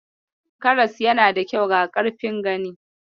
Karas yana da kyau ga karfin gani.